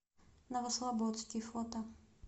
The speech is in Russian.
новослободский фото